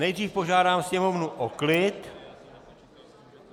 Nejdřív požádám sněmovnu o klid.